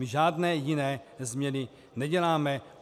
My žádné jiné změny neděláme.